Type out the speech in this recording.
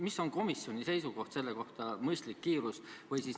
Mis on komisjoni seisukoht selle kohta, mis on mõistlik kiirus?